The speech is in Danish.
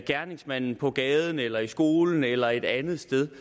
gerningsmanden på gaden eller i skolen eller et andet sted